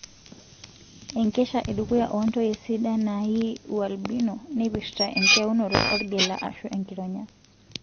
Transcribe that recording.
Enkesha edukuya ontoyie sidan nayii ualbino neipirta enkitayunoto orgela ashu enkironya.